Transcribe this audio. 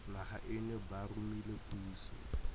naga eno ba romile puso